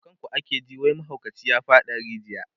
kan ku ake ji wai mahaukaci ya faɗa a rijiya